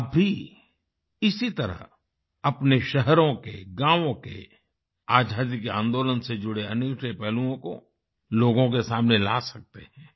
आप भी इसी तरह अपने शहरों के गांवों के आजादी के आन्दोलन से जुड़े अनूठे पहलुओं को लोगों के सामने ला सकते हैं